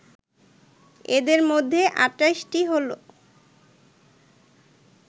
এদের মধ্যে ২৮ টি হল